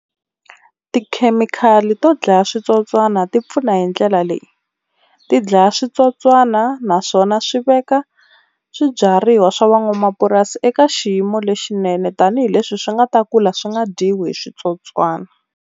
Tikhemikhali to dlaya switsotswana ti pfuna hi ndlela leyi, ti dlaya switsotswana naswona swi veka swibyariwa swa van'wamapurasi eka xiyimo lexinene tanihileswi swi nga ta kula swi nga dyiwi hi switsotswana.